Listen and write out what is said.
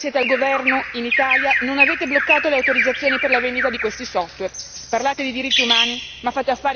Poi vorrei capire perché, voi che siete al governo in Italia, non avete bloccato le autorizzazioni per la vendita di questi software?